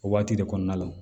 O waati de kɔnɔna la